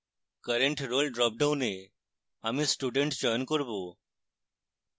current role dropdown আমি student চয়ন করব